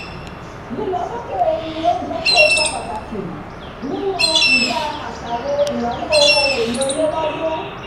lílọ sókè ìyè ohun oúnjẹ kó ipa pàtàkì nínú ìdá àṣàrò ìnáwó ohun èlò ilé lọ́dún